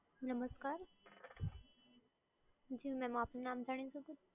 નમસ્કાર, જી ma'm આપનું નામ જાણી શકુ છું?